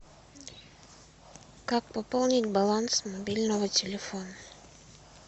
как пополнить баланс мобильного телефона